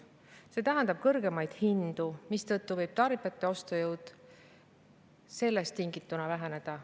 See tähendab kõrgemaid hindu, mistõttu võib tarbijate ostujõud sellest tingituna väheneda.